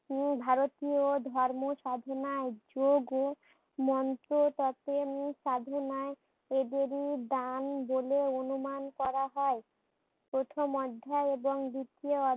উম ভারতীয় ধর্ম সাধনায় যোগ ও মন্ত্র পতেন সাধনায় এদেরই দান বলে অনুমান করা হয়। প্রথম অধ্যায় এবং দ্বিতীয়